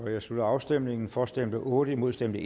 jeg slutter afstemningen for stemte otte imod stemte